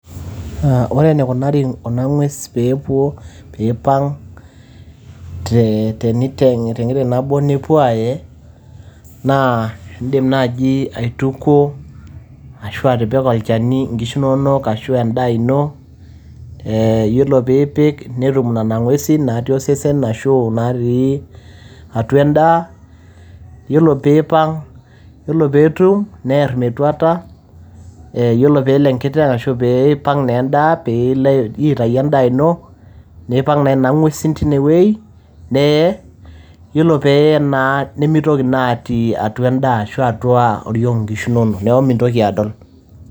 Ore eneikunari kuna ng'wesi pee epuo, peipang' te nkiteng' nabo nepuoi aae, naa indim naaji aitukuo, ashu atipika olchani inkishu inono, ashu endaa ino. Iyiolo pee ipik netum nena ng'uesi naati osesen ashu natii atua endaa, nelo pee eipang' pelo netum, near metuata. Iyiolo pee elo enkiteng' ashu pee eipang' naa endaa anaa pee ilo aitayu endaa ino, neipang nena ng'uesin teine wueji, nee nemeitoki naa atii ena daa arashu kuna kisho inono. Neaku mintoki adol.